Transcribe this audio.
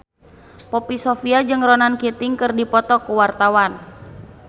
Poppy Sovia jeung Ronan Keating keur dipoto ku wartawan